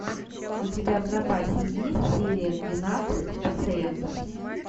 у тебя в запасе есть серия двенадцать пациентов